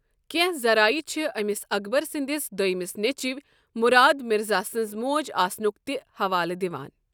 کٮ۪نٛہہ ذَرایع چھِ أمِس اکبر سٕنٛدِس دوٚیمس نیٚچِوۍ مُراد مِرزا سٕنٛز موج آسنُک تہِ حَوالہِ دِوان ۔